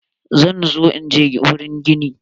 Zan zo inje wurin gini.